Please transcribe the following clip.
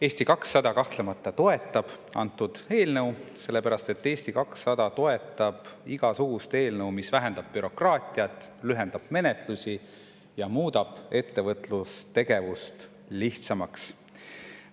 Eesti 200 kahtlemata toetab antud eelnõu, ja seda sellepärast, et Eesti 200 toetab igasugust eelnõu, mis vähendab bürokraatiat, lühendab menetlusi ja muudab ettevõtlustegevust lihtsamaks.